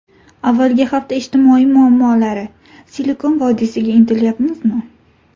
Avvalgi hafta ijtimoiy muammolari: Silikon vodiysiga intilyapmizmi?